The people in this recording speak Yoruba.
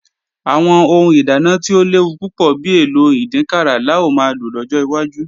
Àwọn ohun ìdáná tí ò léwu púpọ̀ bi èlò ìdínkàrà la ó máa lò lọ́jọ́ wájú